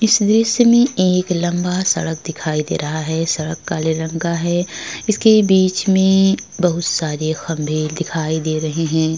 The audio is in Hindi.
इस दृश्य में एक लंबा सड़क दिखाई दे रहा है। सड़क काले रंग का है। इसके बीच में बहोत सारे खम्बे दिखाई दे रहे हैं।